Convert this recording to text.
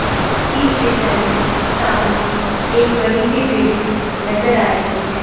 इस चित्र में सामने एक बड़ी सी बिल्डिंग नजर आ रही है।